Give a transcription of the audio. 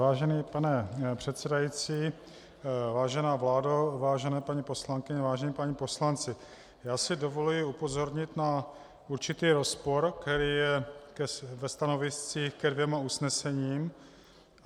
Vážený pane předsedající, vážená vládo, vážené paní poslankyně, vážení páni poslanci, já si dovoluji upozornit na určitý rozpor, který je ve stanoviscích ke dvěma usnesením.